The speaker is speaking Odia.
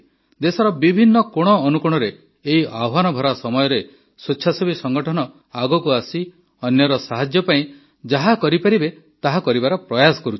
ଦେଶର ବିଭିନ୍ନ କୋଣଅନୁକୋଣରେ ଏହି ଆହ୍ୱାନଭରା ସମୟରେ ସ୍ୱେଚ୍ଛାସେବୀ ସଂଗଠନ ଆଗକୁ ଆସି ଅନ୍ୟର ସାହାଯ୍ୟ ପାଇଁ ଯାହା କରିପାରିବେ ତାହା କରିବାର ପ୍ରୟାସ କରୁଛନ୍ତି